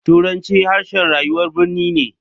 Turanci harshen rayuwar birni ne.